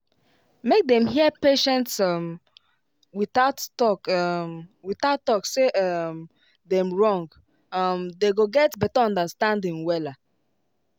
make them hear patients um without talk um without talk say um dem wrong um dem go get better understanding wella